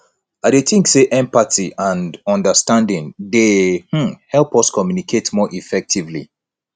i dey think say empathy and understanding dey um help us communicate more effectively